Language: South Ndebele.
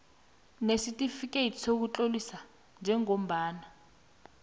nesitifikeyiti sokutlolisa njengombana